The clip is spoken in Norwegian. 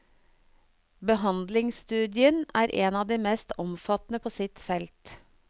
Behandlingsstudien er en av de mest omfattende på sitt felt.